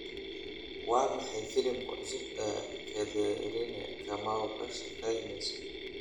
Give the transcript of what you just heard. Waa maxay filimka cusub ee Catherine Kamau ka shaqeyneyso?